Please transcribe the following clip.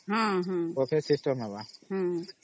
Buffet System ହେବ